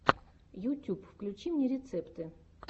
ютьюб включи мне рецепты